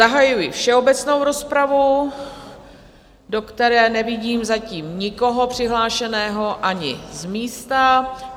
Zahajuji všeobecnou rozpravu, do které nevidím zatím nikoho přihlášeného, ani z místa.